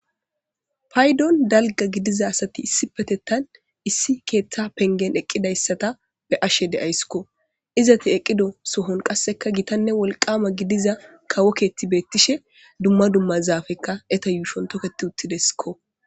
Paydon dalga gidiza asati issi patettan issi keeththa pengen eqqidayssata be ashe deayskko izati eqqido sohon qasseka gitanne wolqama gidiza kawo keetti beettishe dumma dumma zaafekka eta yuushon toketi uttideskko.